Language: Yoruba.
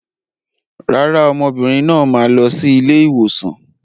Rárá, ọmọbìnrin náà máa lọ sí ilé ìwòsàn.